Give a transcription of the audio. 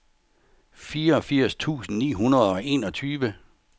fireogfirs tusind ni hundrede og enogtyve